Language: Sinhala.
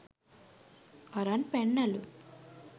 අරන් පැන්නලු.